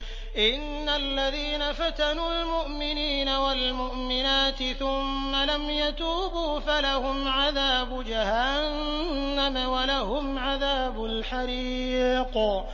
إِنَّ الَّذِينَ فَتَنُوا الْمُؤْمِنِينَ وَالْمُؤْمِنَاتِ ثُمَّ لَمْ يَتُوبُوا فَلَهُمْ عَذَابُ جَهَنَّمَ وَلَهُمْ عَذَابُ الْحَرِيقِ